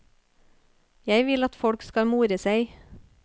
Jeg vil at folk skal more seg.